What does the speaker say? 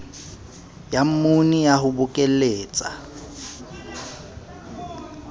ya mmuni ya ho bokelletsa